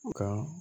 Nka